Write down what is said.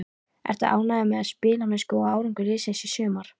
Ertu ánægður með spilamennsku og árangur liðsins í sumar?